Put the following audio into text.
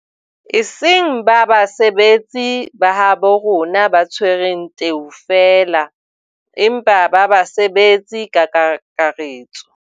E seng ba basebetsi ba habo rona ba tshwereng teu feela, empa ba basebetsi ka kakaretso.